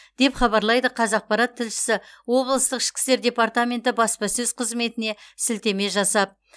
деп хабарлайды қазақпарат тілшісі облыстық ішкі істер департаменті баспасөз қызметіне сілтеме жасап